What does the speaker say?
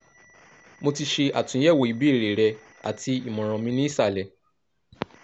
mo ti ṣe atunyẹwo ibeere rẹ ati imọran mi ni isalẹ